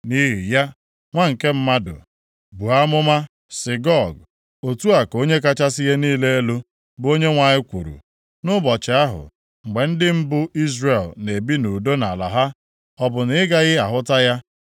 “Nʼihi ya, nwa nke mmadụ, buo amụma sị Gog, ‘Otu a ka Onye kachasị ihe niile elu, bụ Onyenwe anyị kwuru: Nʼụbọchị ahụ mgbe ndị m bụ Izrel na-ebi nʼudo nʼala ha, ọ bụ na ị gaghị ahụta ya?